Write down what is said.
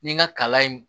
Ni n ka kalan in